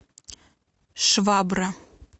швабра